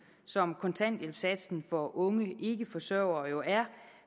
som kontanthjælpssatsen for unge ikkeforsørgere jo er